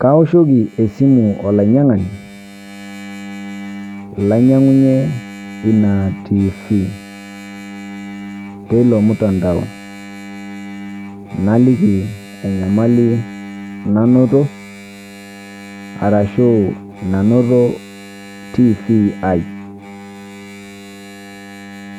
Kaoshoki esimu olainyang'ani lainyang'unye ena TV teloo mtandao naliiki enyamali nanotoo arashu nanotoo TV ai